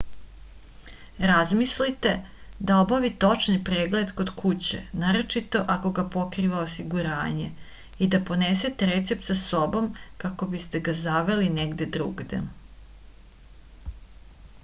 razmislite da obavite očni pregled kod kuće naročito ako ga pokriva osiguranje i da ponesete recept sa sobom kako biste ga zaveli negde drugde